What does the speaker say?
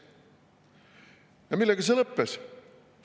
Ja millega see lõppes?